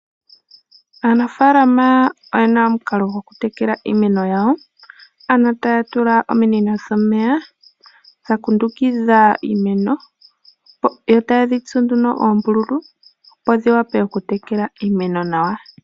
Aanafalama oyena omukalo gokutekela iimeno yawo. Ano taya tula ominino dhomeya dha kundukidha iimeno, yo taye dhi tsu nduno oombululu opo dhi wape oku tekela iimeno nawa.